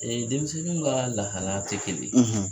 Ee denmisɛnnin ka lahalaya tɛ kelen ye.